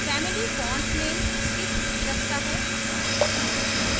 family font names की सूची रखता है